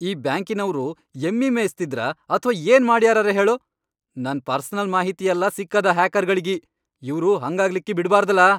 ಈ ಬ್ಯಾಂಕಿನವ್ರು ಎಮ್ಮಿ ಮೇಯ್ಸ್ತಿದ್ರ ಅಥ್ವಾ ಏನ್ ಮಾಡ್ಯಾರರೇ ಹೇಳು, ನನ್ ಪರ್ಸನಲ್ ಮಾಹಿತಿ ಯಲ್ಲಾ ಸಿಕ್ಕದ ಹ್ಯಾಕರ್ಗಳಿಗಿ, ಇವ್ರು ಹಂಗಾಗ್ಲಿಕ್ಕಿ ಬಿಡಬಾರ್ದಲಾ.